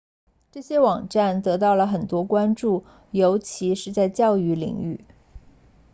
这些网站得到了很多关注尤其是在教育领域